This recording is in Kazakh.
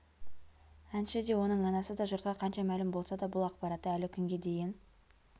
әнші де оның анасы да жұртқа қанша мәлім болса да бұл ақпаратты әлі күнге дейін